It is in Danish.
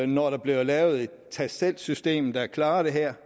når der bliver lavet et tag selv system der klarer det her